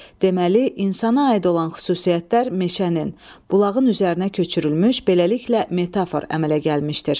Deməli, insana aid olan xüsusiyyətlər meşənin, bulağın üzərinə köçürülmüş, beləliklə metafor əmələ gəlmişdir.